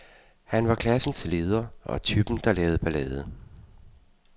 Han var klassens leder og typen, der lavede ballade.